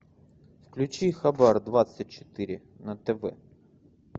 включи хабар двадцать четыре на тв